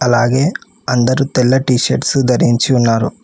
అలాగే అందరూ తెల్ల టి షర్ట్స్ ధరించి ఉన్నారు.